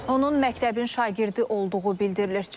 Onun məktəbin şagirdi olduğu bildirilir.